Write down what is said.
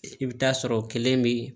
I bɛ taa sɔrɔ o kelen bɛ